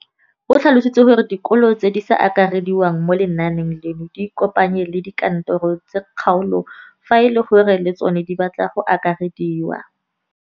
O tlhalositse gore dikolo tse di sa akarediwang mo lenaaneng leno di ikopanye le dikantoro tsa kgaolo fa e le gore le tsona di batla go akarediwa.